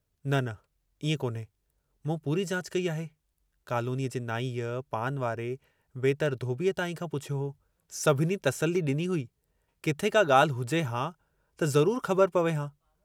न न इएं कोन्हे, मूं पूरी जाचु कई आहे, कालोनीअ जे नाईअ, पान वारे, वेतरि धोबीअ ताईं खां पुछियो हो, सभिनी तसल्ली ॾिनी हुई, किथे का ॻाल्हि हुजे हां त ज़रुर ख़बर पवे हां।